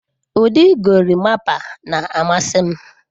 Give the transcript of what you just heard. Ụdị gorimapa na-amasị m.